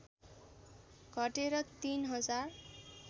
घटेर ३ हजार